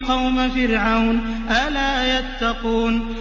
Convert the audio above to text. قَوْمَ فِرْعَوْنَ ۚ أَلَا يَتَّقُونَ